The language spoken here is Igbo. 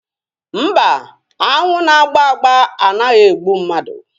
Mba, aṅụ na-agba agba anaghị egbu mmadụ